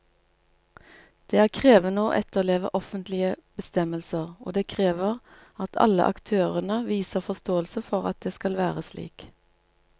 Det er krevende å etterleve offentlige bestemmelser, og det krever at alle aktørene viser forståelse for at det skal være slik.